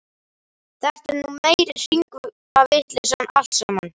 Þetta er nú meiri hringavitleysan allt saman!